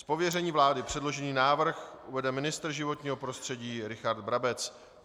Z pověření vlády předložený návrh uvede ministr životního prostředí Richard Brabec.